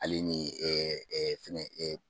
Ale ni fɛngɛ eee